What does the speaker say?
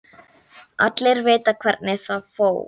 Allir vita hvernig það fór.